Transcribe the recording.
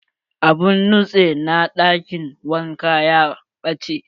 Abun nutse na ɗakin wanka ya ɓache.